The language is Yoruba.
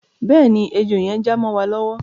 Bẹ́ẹ̀ ni, ẹjọ́ yẹn já mọ́ wa lọ́wọ́.